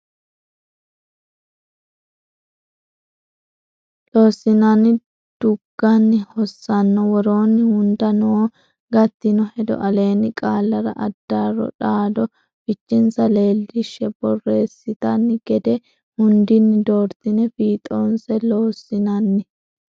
Loossinanni dugganni hossanno woroonni hunda noo gattino hedo aleenni qaallara addaarro dhaaddo fichensa leellinshi borreessitanno gede hundinni doortine fiixoonse Loossinanni.